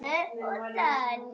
Hjördís: Og hvert skal haldið?